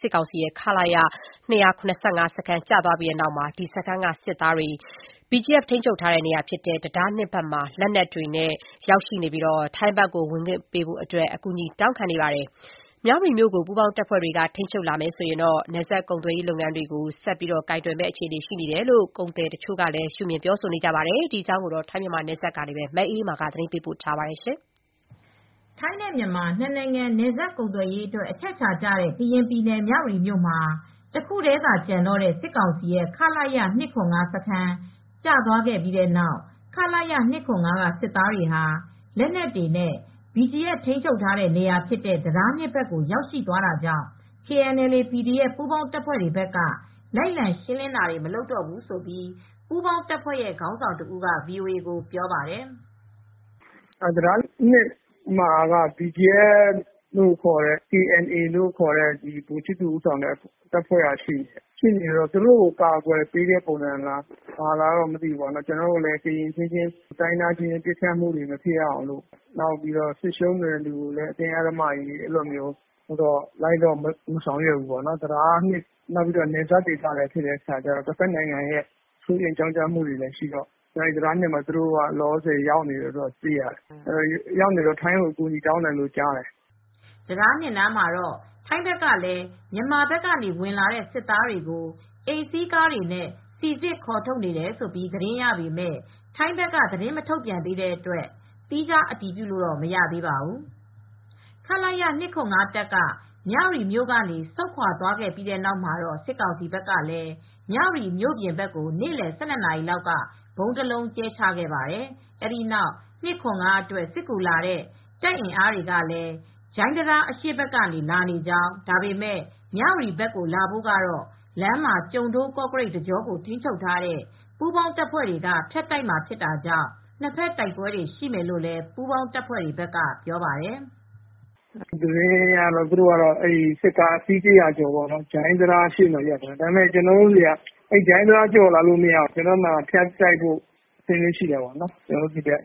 စစ်ကောင်စီရဲ့ ခလရ ၂၇၅ စခန်း ကျသွားပြီတဲ့နောက် စစ်သားတွေဟာ BGF ထိန်းချုပ်ထားတဲ့နေရာဖြစ်တဲ့ တံတား ၂ ဘက်မှာ လက်နက်တွေနဲ့ ရောက်ရှိနေပြီး ထိုင်းဘက်ကို ဝင်ခွင့်ရဖို့ အကူအညီတောင်းခံနေပါတယ်။ မြ၀တီမြို့မှာ ပူးပေါင်းတပ်ဖွဲ့တွေက ထိန်းချုပ်တဲ့အခါမှာ နယ်စပ်ကုန်သွယ်ရေးလုပ်ငန်းတွေကိုပါ ဆက်လက် ကိုင်တွယ်မယ့်အခြေအနေရှိနေတယ်လို့လည်း ကုန်သည်တွေကရှုမြင်ပါတယ်။ ဒီအကြောင်း ဗွီအိုအေ သတင်းထောက် မအေးအေးမာက သတင်းပေးပို့ထားပါတယ်။ ထိုင်းနဲ့ မြန်မာ နှစ်နိုင်ငံ နယ်စပ်ကုန်သွယ်ရေးအတွက် အချက်အချာကျတဲ့ ကရင်ပြည်နယ်၊ မြ၀တီမြို့မှာ တခုတည်း သာကျန်တော့တဲ့စစ်ကောင်စီရဲ့ ခလရ ၂၇၅ စခန်း ကျသွားပြီတဲ့နောက် ခလရ ၂၇၅ကစစ်သားတွေဟာ လက်နက်တွေနဲ့ BGF ထိမ်းချုပ်ထားတဲနေရာဖြစ်တဲ့ တံတား၂ ဘက်ကို ရောက်ရှိသွားတာကြောင့် KNLA/PDF ပူးပေါင်းတပ်ဖွဲ့ဘက်က လိုက်လံရှင်းလင်းတာတွေ မလုပ်တော့ဘူးလို့ ပူးပေါင်းတပ်ရဲ့ ခေါင်းဆောင်တဦးက VOA ကို ပြောပါတယ်။ "တံတား နားမှာက BGF လို့ခေါ်တဲ့ KNA က ဗိုလ်မှူးချစ်သူ ဦးဆောင်တဲ့အဖွဲ့ ရှိနေတယ်။ သူတို့ ကို ကာကွယ်ပေးတဲ့ပုံစံလားတော့ မသိဘူး။ ကျနော်တို့ကတော့ တိုင်းရင်းသားအချင်းချင်းလည်း ဆက်မတိုက်ချင်ဘူး။ ပြီးတော့ စစ်ရှုံးနေတဲ့သူတွေကိုလည်း ကျနော်တို့က လိုက်လံရှင်းလင်းဆောင်ရွက်တာတွေလည်း မလုပ်ဘူး။ တံတား ၂ နား ဖြစ်တော့ တဖက် နိုင်ငံကလည်း သူတို့နယ်စပ်လည်းဖြစ်နေတော့ စိုးရိမ်ကြောင့်ကြမှုလည်း ရှိနိင်တယ်လေ။ တံတား နားမှာ ရောက်နေပြီး ထိုင်းကို အကူညီတောင်းနေတယ်လို့ သိရပါတယ်။" တံတား နားမှာတော့ ထိုင်းဘက်ကလည်း မြန်မာဘက်ကဝင်လာတဲ့ စစ်သားတွေကို အိမ်စီးကားတွေနဲ့ စိစစ်ခေါ်ထုတ်နေတယ်လို့ သတင်းရပေမဲ့ ထိုင်းဘက်က သတင်းမထုတ်ပြန်သေးတဲ့အတွက် သီးခြား အတည်ပြုလို့မရသေးပါဘူး။ ခလရ ၂၇၅ တပ်က မြ၀တီမြို့ကနေ ဆုတ်ခွါခဲ့ပြီးတဲ့နောက်မှာ စစ်ကောင်စီဘက်ကလည်း မြ၀တီမြို့ပြင်ဘက်ကို နေ့လည် ၁၂နာရီလောက်က ဗုံးတလုံးကြဲချခဲ့ပါတယ်။ အဲဒီနောက် ၂၇၅အတွက် စစ်ကူလာတဲ့ တပ်အင်အားတွေလည်း ဂျိုင်းတံတားအရှေ့ဘက်ကနေ လာနေကြောင်း၊ ဒါပေမဲ့ မြ၀တီဘက်ကိုလာဖို့ကတော့ လမ်းမှာ ကျိုဒိုး-ကော့ကရိတ်တကြောကို ထိန်းချုပ်ထားတဲ့ ပူးပေါင်းတပ်ဖွဲ့တွေက ဖြတ်တိုက်မှာဖြစ်တာကြောင့် နှစ်ဖက်တိုက်ပွဲတွေ ရှိမယ်လို့လည်း ပူးပေါင်းတပ်ဘက်ကပြောပါတယ်။ "သတင်းအရတော့ စစ်ကားအစီး တရာကျော် ဂျိုင်းတံတားဘက်က လာနေတယ်ကြားတယ်။ ဒါပေမယ့် ဂျိုင်းတံတားကျော်ရင်တော့ ကျနော်တို့ဘက်လည်း ဖြတ်တိုက်ဖို့ရှိပါတယ်။"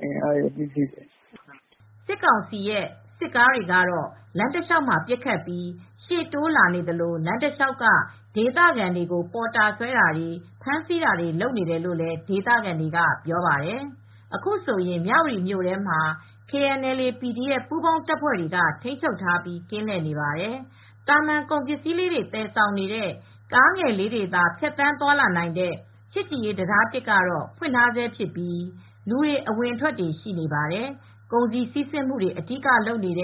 စစ်ကောင်စီရဲ့ စစ်ကားတွေကတော့ လမ်းတလျှောက်မှာ ပစ်ခတ်ပြီး ရှေ့တိုးလာနေသလို လမ်းတလျှောက်က ဒေသခံတွေကို ပေါ်တာဆွဲတာတွေ၊ ဖမ်းဆီးတာတွေ လုပ်နေတယ်လို့လည်း ဒေသခံတွေက ပြောပါတယ်။ အခုဆိုရင် မြ၀တီမြို့ထဲမှာ KNLA/PDF ပူးပေါင်းတပ်ဖွဲ့တွေ ထိန်းချုပ်ထားပြီး ကင်းလှည့်နေပါတယ်။ သာမန်ကုန်ပစ္စည်းလေးတွေ သယ်ဆောင်နေတဲ့ ကားငယ်တွေသာ ဖြတ်သန်းသွားလာနိုင်တဲ့ ချစ်ကြည်ရေးတံတား ကတော့ ဖွင့်ထားဆဲဖြစ်ပြီး လူတွေ အဝင်အထွက်တွေ ရှိနေပါတယ်။ ကုန်စည်စီးဆင်းမူတွေ အဓိကလုပ်တဲ့ ချ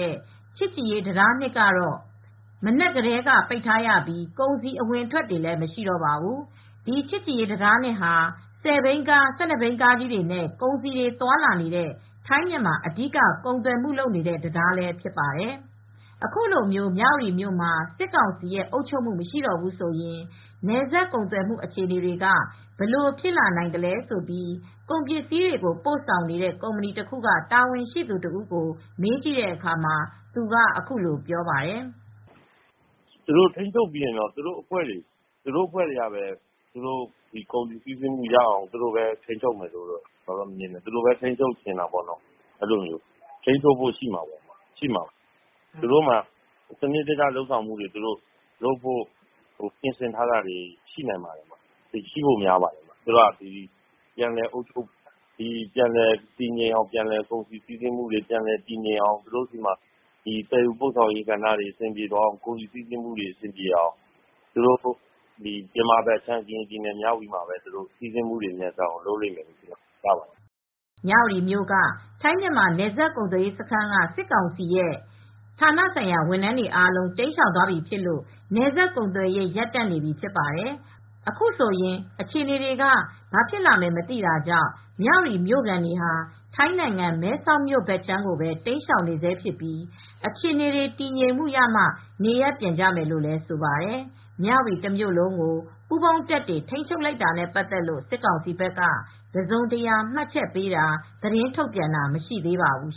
စ်ကြည်ရေးတံတား ကတော့ မနက်ကတည်းက ပိတ်ထားရပြီး ကုန်စည် အဝင်အထွက်တွေလည်း မရှိတော့ပါဘူး။ ဒီ ချစ်ကြည်ရေး တံတား ဟာ ဆယ်ဘီးကား ၁၂ဘီးကားကြီးတွေနဲ့ ကုန်စည်တွေသွားလာနေတဲ့ ထိုင်း-မြန်မာ အဓိက ကုန်သွယ်မှုလုပ်တဲ့ တံတားလည်းဖြစ်ပါတယ်။ အခုလိုမြ၀တီမြို့မှာ စစ်ကောင်စီရဲ့အုပ်ချုပ်မှု မရှိတော့ဘူးဆိုရင် နယ်စပ်ကုန်သွယ်မှုအခြေအနေတွေက ဘယ်လိုဖြစ်လာနိုင်သလဲလို့ ကုန်ပစ္စည်းတွေ ပို့ဆောင်နေတဲ့ ကုမ္ပဏီတခုက တာဝန်ရှိသူတဦးကို မေးကြည့်တဲ့အခါမှာ သူက အခုလိုပြောပြပါတယ်။ "သူတို့ထိန်းချုပ်ပြီးရင်တော့ ကုန်စည်စီးဆင်းမှုရအောင်တော့ ထိန်းချုပ်မယ်ထင်တယ်။ သူတို့လည်း ထိန်းချုပ်ချင်မှာပေါ့။ ထိန်းချုပ်ဖို့ရှိမှာပဲ။ သူတို့မှာ စနစ်တကျထိန်းချုပ်ဖို့တွေအတွက် ပြင်ဆင်ထားတာလေးတွေ ရှိနိုင်ပါတယ်။ ရှိဖို့များပါတယ်။ သူတို့က ကုန်စည်စီးဆင်းမူတွေ ပြန်လည်တည်ငြိမ်အောင် သူတို့ဆီမှာ သယ်ယူပို့ဆောင်ရေးတွေ အဆင်ပြေအောင်၊ မြန်မာဘက် ကရင်ပြည် မြ၀တီဘက်မှာ ကုန်စည်စီးဆင်းမူတွေ မြန်ဆန်အောင် လုပ်မယ်လို့ ယူဆရပါတယ်။" မြ၀တီမြို့က ထိုင်း-မြန်မာ နယ်စပ်ကုန်သွယ်ရေးစခန်းက စစ်ကောင်စီရဲ့ ဌာနဆိုင်ရာဝန်ထမ်းတွေအားလုံး တိမ်းရှောင်သွားပြီဖြစ်လို့ နယ်စပ်ကုန်သွယ်ရေး ရပ်တန့်နေပြီ ဖြစ်ပါတယ်။ အခုဆိုရင်အခြေအနေတွေက ဘာဖြစ်လာမယ် မသိတာကြောင့် မြ၀တီမြို့ခံတွေဟာ ထိုင်းနိုင်ငံ၊ မဲဆောက်မြို့ဘက်ကိုပဲတိမ်းရှောင်နေဆဲဖြစ်ပြီး အခြေအနေ တည်ငြိမ်မှ နေရပ်ပြန်ကြမယ်လို့ ဆိုပါတယ်။ မြ၀တီတမြို့လုံးကို ပူးပေါင်းတပ်တွေ ထိန်းချုပ်လိုက်တာနဲ့ပတ်သက်လို့ စစ်ကောင်စီဘက်က တစုံတရာ မှတ်ချက်ပေးတာ၊ သတင်းထုတ်ပြန်တာတွေ မရှိသေးပါဘူး